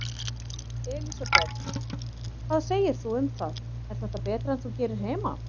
Elísabet: Hvað segir þú um það, er þetta betra en þú gerir heima?